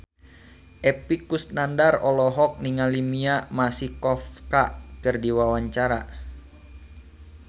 Epy Kusnandar olohok ningali Mia Masikowska keur diwawancara